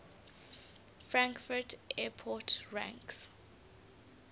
frankfurt airport ranks